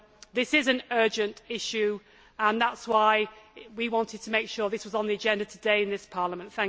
This is an urgent issue, and that is why we wanted to make sure this was on the agenda today in this Parliament.